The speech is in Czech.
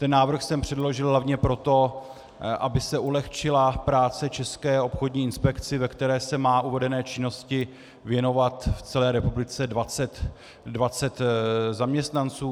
Ten návrh jsem předložil hlavně proto, aby se ulehčila práce České obchodní inspekci, ve které se má uvedené činnosti věnovat v celé republice 20 zaměstnanců.